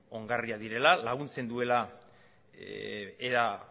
ongarriak direla laguntzen duela era